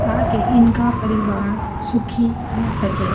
ताकि इनका परिवार सुखी रह सके --